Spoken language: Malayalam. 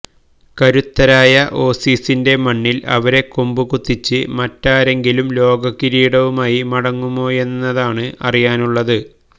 കരുത്തരായ ഓസീസിന്റെ മണ്ണില് അവരെ കൊമ്പുകുത്തിച്ച് മറ്റാരെങ്കിലും ലോകകിരീടവുമായി മടങ്ങുമോയെന്നാണ് അറിയാനുള്ളത്